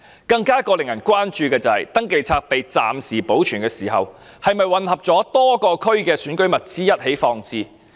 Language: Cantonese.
更令人關注的是，登記冊被暫時保存時，是否混合了多個地區的選舉物資一起放置？